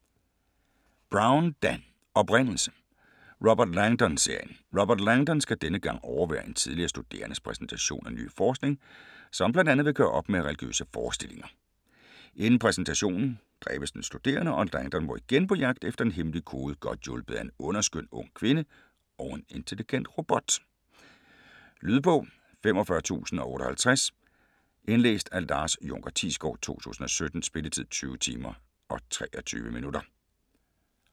Brown, Dan: Oprindelse Robert Langdon-serien. Robert Langdon skal denne gang overvære en tidligere studerendes præsentation af ny forskning, som bl.a. vil gøre op med religiøse forestillinger. Inden præsentationen dræbes den studerende, og Langdon må igen på jagt efter en hemmelig kode godt hjulpet af en underskøn ung kvinde og en intelligent robot. Lydbog 45058 Indlæst af Lars Junker Thiesgaard, 2017. Spilletid: 20 timer, 23 minutter.